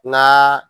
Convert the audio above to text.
N ga